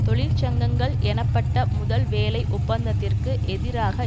தொழிற்சங்கங்கள் எனப்பட்ட முதல் வேலை ஒப்பந்தத்திற்கு எதிராக